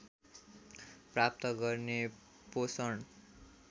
प्राप्त गर्ने पोषण